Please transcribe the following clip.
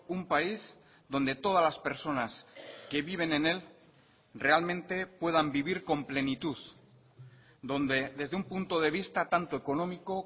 un país donde todas las personas que viven en el realmente puedan vivir con plenitud donde desde un punto de vista tanto económico